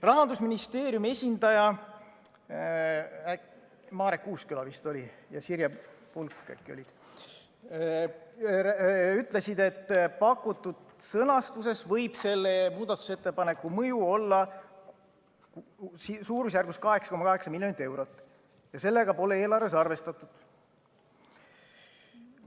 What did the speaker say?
Rahandusministeeriumi esindajad – Marek Uusküla ja Sirje Pulk äkki vist olid need – ütlesid, et pakutud sõnastuses võib selle muudatusettepaneku mõju olla suurusjärgus 8,8 miljonit eurot ja sellega pole eelarves arvestatud.